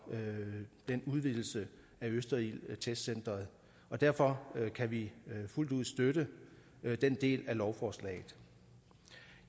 den udvidelse af østerildtestcentret og derfor kan vi fuldt ud støtte den del af lovforslaget